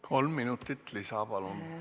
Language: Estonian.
Kolm minutit lisa, palun!